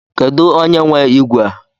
Kedu onye nwe ígwè ígwè?